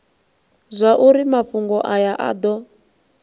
zwauri mafhungo aya a do